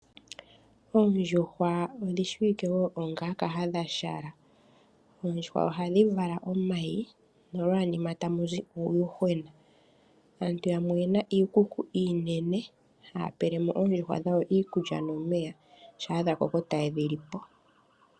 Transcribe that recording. Ondjuhwa odhi shiwike wo onga kahadhashala. Oondjuhwa ohadhi vala omayi nolwanima tamu zi uuyuhwena. Aantu yamwe oyena iikuku iinene haya pele mo oondjuhwa dhawo iilkulya nomeya, sha dha koko taye dhi li po.